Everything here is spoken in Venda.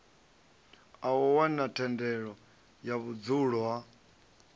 wana thendelo ya vhudzulo ha